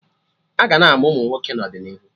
Aga na-amụ Ụmụnwoke n'ọdịnihu